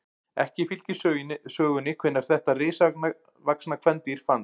ekki fylgir sögunni hvenær þetta risavaxna kvendýr fannst